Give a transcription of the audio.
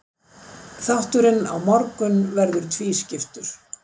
Þátturinn á morgun verður tvískiptur.